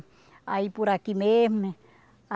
Aí por aqui mesmo, né?